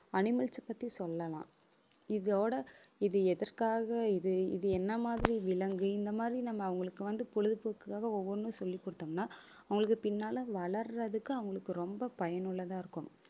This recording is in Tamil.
animals அ பத்தி சொல்லலாம். இதோட இது எதற்காக இது இது என்ன மாதிரி விலங்கு இந்த மாதிரி நம்ம அவங்களுக்கு வந்து, பொழுதுபோக்குக்காக ஒவ்வொண்ணும் சொல்லிக் கொடுத்தோம்ன்னா அவங்களுக்கு பின்னால வளர்றதுக்கு அவங்களுக்கு ரொம்ப பயனுள்ளதா இருக்கும்